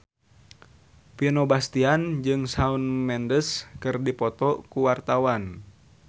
Vino Bastian jeung Shawn Mendes keur dipoto ku wartawan